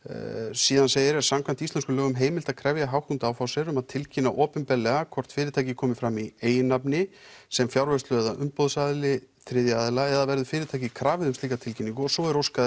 síðan segir að samkvæmt íslenskum lögum sé heimilt að krefja Hauck og Aufhäuser um að tilkynna opinberlega hvort að fyrirtækið komi fram í eigin nafni sem fjárvörslu eða umboðsaðili þriðja aðila eða verður fyrirtækið krafið um slíka tilkynningu svo er óskað